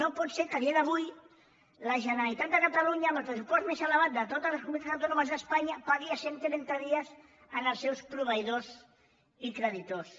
no pot ser que a dia d’avui la generalitat de catalunya amb el pressupost més elevat de totes les comunitats autònomes d’espanya pagui a cent trenta dies als seus proveïdors i creditors